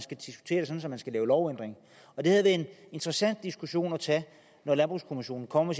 man skal lave en lovændring og det havde været en interessant diskussion at tage når landbrugskommissionen kommer